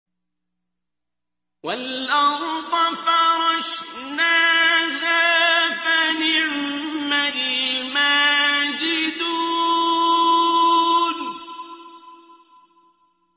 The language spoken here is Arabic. وَالْأَرْضَ فَرَشْنَاهَا فَنِعْمَ الْمَاهِدُونَ